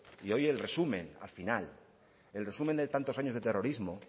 y hoy el resumen al final el resumen de tantos años de terrorismo